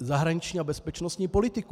zahraniční a bezpečnostní politiku.